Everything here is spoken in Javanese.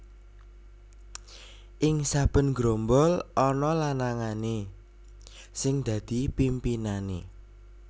Ing saben grombol ana lanangané sing dadi pimpinané